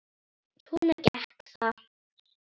Svona gekk það.